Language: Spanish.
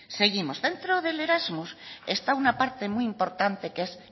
seguimos dentro del erasmus está una parte muy importante que es